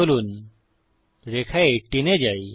চলুন রেখা 18 এ যাই